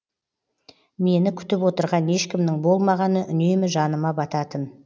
мені күтіп отырған ешкімнің болмағаны үнемі жаныма бататын